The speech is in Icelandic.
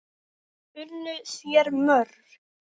Þær unnu þér mjög.